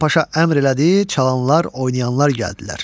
Hasan Paşa əmr elədi, çalanlar, oynayanlar gəldilər.